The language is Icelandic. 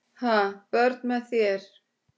Ha, börn með þér?